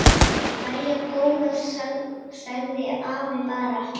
Jæja góða sagði afi bara.